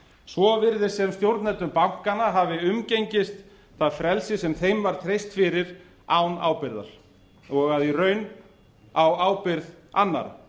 svo virðist sem stjórnendur bankanna hafi umgengist það frelsi sem þeim var treyst fyrir án ábyrgðar og í raun á ábyrgð annarra